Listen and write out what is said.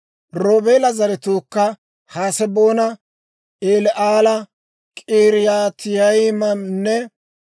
Roobeela zaratuukka Haseboona, Eli'aala, K'iriyaatayimanne,